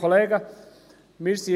Ich gebe Grossrat Knutti das Wort.